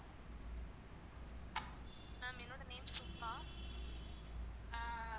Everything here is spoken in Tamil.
ma'am என்னுடைய name சுபா